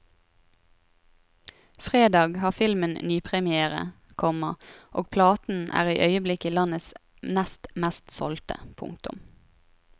Fredag har filmen nypremière, komma og platen er i øyeblikket landets nest mest solgte. punktum